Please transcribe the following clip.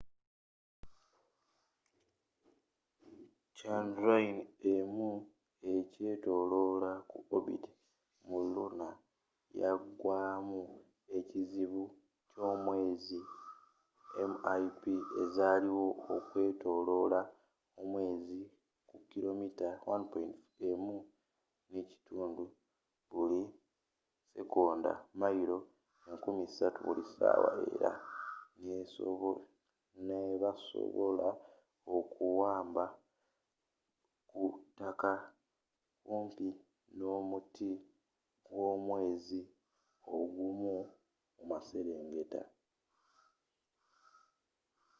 chandrayaan-1 ekyetoloola ku orbit mu luna yagyemu ekizibu ky'omwezi mip ezaliwo okwetoloola omwezi ku kilomita1.5 ku buli sikonda mayiro 3000 buli ssaawa, era nebasobola okuwaba ku ttaka kumpi n'omuti gw'omwezi ogw'omu maserengeta